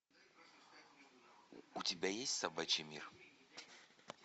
у тебя есть собачий мир